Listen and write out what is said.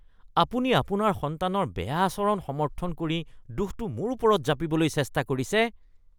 আপুনি আপোনাৰ সন্তানৰ বেয়া আচৰণ সমৰ্থন কৰি দোষটো মোৰ ওপৰত জাপিবলৈ চেষ্টা কৰিছে।